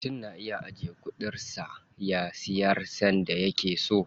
Mutum na iya ajiye ƙadarar sa, ya siyar sanda yake so.